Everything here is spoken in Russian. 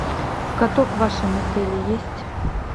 каток в вашем отеле есть